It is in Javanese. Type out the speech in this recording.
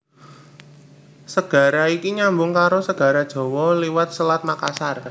Segara iki nyambung karo Segara Jawa liwat Selat Makassar